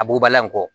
A bugubala in kɔ